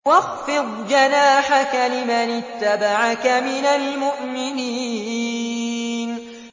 وَاخْفِضْ جَنَاحَكَ لِمَنِ اتَّبَعَكَ مِنَ الْمُؤْمِنِينَ